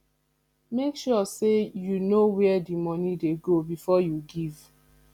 make sure say you know where di money de go before you give